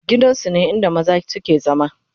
gidan su ne inda maza su ke zama